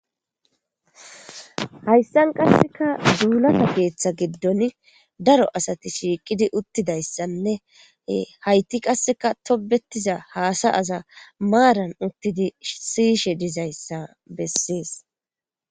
Hayissan qasekka dulata keththa gidon daro asati shiqidi utidayissanne ee hayti qasekka tobetiza hassayaza maaran utidi siyishshe dizayissa besses